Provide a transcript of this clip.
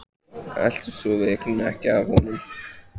Eltist sú veiklun ekki af honum.